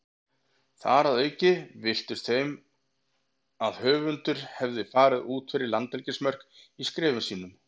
Þar að auki virtist þeim að höfundur hefði farið út fyrir landhelgismörk í skrifum sínum.